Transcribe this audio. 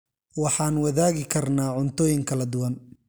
Waxaan wadaagi karnaa cuntooyin kala duwan.